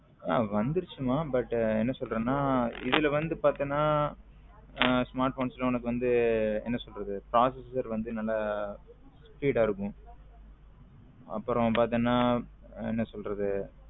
வந்துருச்சு மா but என்ன சொல்லுறது நா இதுல வந்து பாத்தின smartphones ல உனக்கு வந்து என்ன சொல்லுறது processor வந்து நல்ல speed ஆ இருக்கும் அப்பரம் பாத்தின என்ன சொல்லுறது.